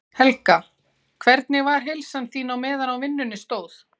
Helga: Hvernig var heilsan þín á meðan á vinnunni stóð?